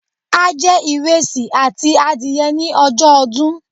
A je ìresì àti adìye ni ojó odún